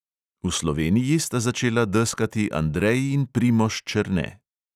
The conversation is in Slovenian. V sloveniji sta začela deskati andrej in primož černe.